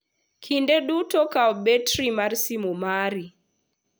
Kinde duto kaw batiri mar simo mari.